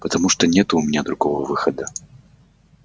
потому что нету у меня другого выхода